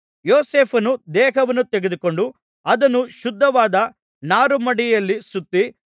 ಯೋಸೇಫನು ದೇಹವನ್ನು ತೆಗೆದುಕೊಂಡು ಅದನ್ನು ಶುದ್ಧವಾದ ನಾರುಮಡಿಯಲ್ಲಿ ಸುತ್ತಿ